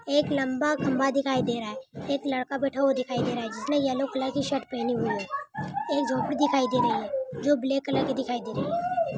एक लंबा खंबा दिखाई दे रहा है एक लड़का बैठा हुआ दिखाई दे रहा है जिसने येलो कलर की शर्ट पहनी हुई है. एक झोपड़ी दिखाई दे रही है जो ब्लैक कलर की दिखाई दे रही है।